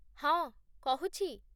ହଁ, କହୁଛି